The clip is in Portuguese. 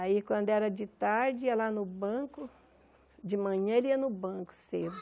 Aí quando era de tarde ia lá no banco, de manhã ele ia no banco cedo.